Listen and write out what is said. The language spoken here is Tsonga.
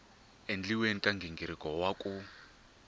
endliweni ka nghingiriko wa ku